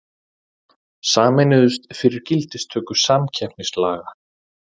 Sameinuðust fyrir gildistöku samkeppnislaga